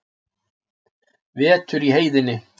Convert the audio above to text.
Vetur í heiðinni.